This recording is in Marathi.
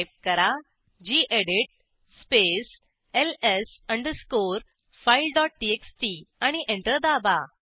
टाईप करा गेडीत space LS underscore file dot TXT आणि एंटर दाबा